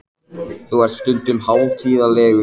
Þú ert stundum hátíðlegur þegar þú talar.